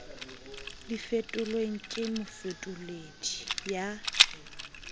di fetolelwe ke mofetoledi ya